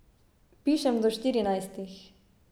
Pišem do štirinajstih.